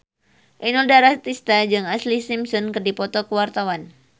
Inul Daratista jeung Ashlee Simpson keur dipoto ku wartawan